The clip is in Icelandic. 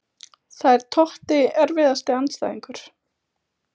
Það er Totti Erfiðasti andstæðingur?